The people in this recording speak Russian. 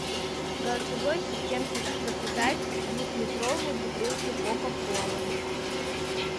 голосовой ассистент хочу заказать двухлитровую бутылку кока колы